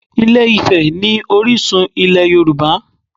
Ilé-Ifẹ̀ ni orísun ilẹ̀ Yorùbá